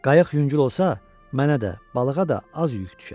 Qayıq yüngül olsa, mənə də, balığa da az yük düşər.